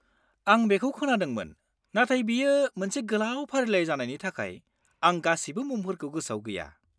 -आं बेखौ खोनादोंमोन, नाथाय बेयो मोनसे गोलाव फारिलाइ जानायनि थाखाय, आं गासिबो मुंफोरखौ गोसोआव गैया।